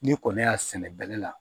Ni kɔni y'a sɛnɛ bɛlɛ la